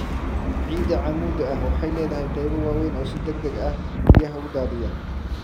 Ciida cammuudda ah waxay leedahay qaybo waaweyn oo si degdeg ah biyaha u daadiya.